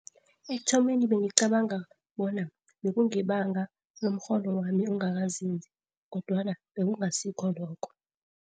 Ekuthomeni bengicabanga bona bekungebanga lomrholo wami ongakanzinzi, kodwana bekungasikho lokho.